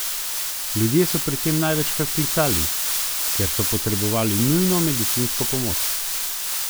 Ljudje so pri tem največkrat klicali, ker so potrebovali nujno medicinsko pomoč.